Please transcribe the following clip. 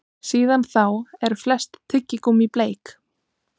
Síðan þá eru flest tyggigúmmí bleik.